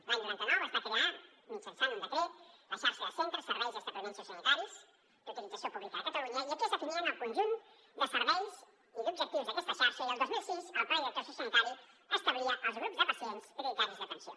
l’any noranta nou es va crear mitjançant un decret la xarxa de centres serveis i establiments sociosanitaris d’utilització pública a catalunya i aquí es definien el conjunt de serveis i d’objectius d’aquesta xarxa i el dos mil sis el pla director sociosanitari establia els grups de pacients prioritaris d’atenció